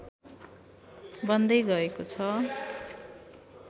बन्दै गएको छ